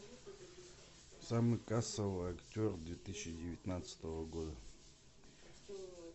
самый кассовый актер две тысячи девятнадцатого года